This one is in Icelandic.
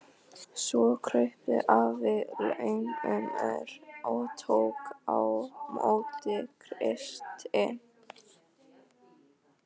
Svo kraup Ari lögmaður og tók á móti Kristi.